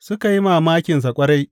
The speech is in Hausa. Suka yi mamakinsa ƙwarai.